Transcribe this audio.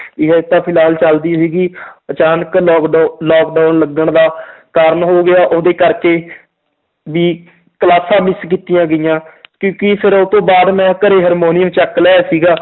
ਵੀ ਹਜੇ ਤਾਂ ਫਿਲਹਾਲ ਚੱਲਦੀ ਸੀਗੀ ਅਚਾਨਕ ਲੋਕਡਾਊ~ lockdown ਲੱਗਣ ਦਾ ਕਾਰਨ ਹੋ ਗਿਆ ਉਹਦੇ ਕਰਕੇ ਵੀ ਕਲਾਸਾਂ miss ਕੀਤੀਆਂ ਗਈਆਂ ਫਿਰ ਉਹ ਤੋਂ ਬਾਅਦ ਮੈਂ ਘਰੇ ਹਰਮੋਨੀਅਮ ਚੁੱਕ ਲਿਆਇਆ ਸੀਗਾ